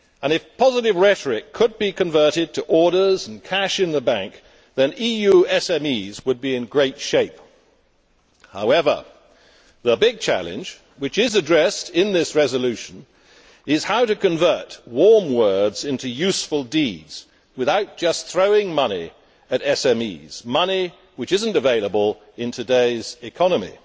If positive rhetoric could be converted into orders and cash in the bank, then the Union's SMEs would be in great shape. However, the big challenge which is addressed in this resolution is how to convert warm words into useful deeds without just throwing money at SMEs money that is not available in today's economy.